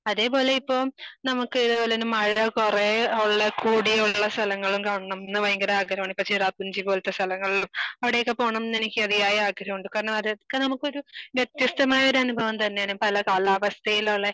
അതേ പോലെ ഇപ്പൊ നമുക്ക് അതേ പോലെ മഴ കുറേ യുള്ള കൂടിയുള്ള സ്ഥലങ്ങൾ കാണണം ന്ന് ഭയങ്കര ആഗ്രഹമാണ്. പക്ഷെ ചിറാപുഞ്ചി പോലത്തെ സ്ഥലങ്ങളും അവിടെയൊക്കെ പോണം ന്ന് എനിക്ക് അധിയായ ആഗ്രഹമുണ്ട് കാരണം അതൊക്കെ നമുക്കൊരു വ്യത്യസ്തമായ ഒരു അനുഭവം തന്നെയാണ് പല കാലാവസ്ഥയിലുള്ളേ,